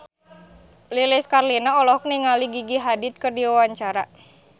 Lilis Karlina olohok ningali Gigi Hadid keur diwawancara